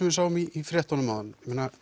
við sáum í fréttunum áðan